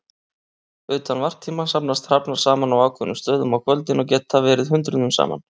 Utan varptíma safnast hrafnar saman á ákveðnum stöðum á kvöldin og geta verið hundruðum saman.